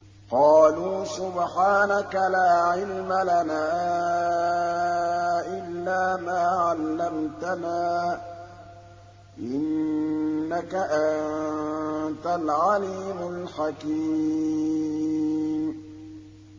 قَالُوا سُبْحَانَكَ لَا عِلْمَ لَنَا إِلَّا مَا عَلَّمْتَنَا ۖ إِنَّكَ أَنتَ الْعَلِيمُ الْحَكِيمُ